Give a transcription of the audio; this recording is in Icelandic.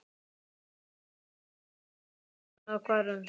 Ég hringi aftur sagði röddin og hvarf.